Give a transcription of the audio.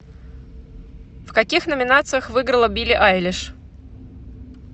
в каких номинациях выиграла билли айлиш